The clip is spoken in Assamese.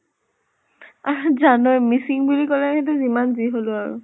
আৰি জানʼনে মিছিং বুলি কলে যি হলেও আৰু।